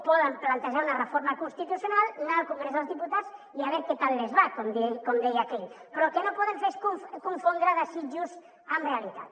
poden plantejar una reforma constitucional anar al congrés dels diputats i a ver qué tal les va com deia aquell però el que no poden fer és confondre desitjos amb realitat